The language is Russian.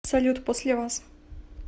салют после вас